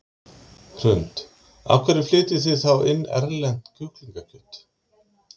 Hrund: Af hverju flytjið þið þá inn erlent kjúklingakjöt?